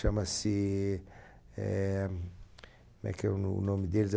Chama-se... Eh... Como é que é o no o nome deles?